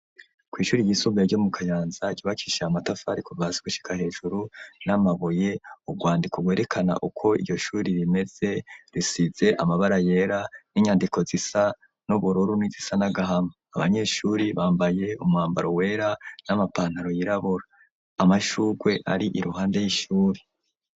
Kw'ishuri ryisumbuye ryo mu Kayanza, rubakishijwe amatafari kuva hasi gushika hejuru n'amabuye, urwandiko rwerekana uko iryo shuri rimeze, risize amabara yera n'inyandiko zisa n'ubururu n'izisa n'agahama, abanyeshuri bambaye umwambaro wera n'amapantaro yirabura, amashugwe ar'iruhande y'ishuri.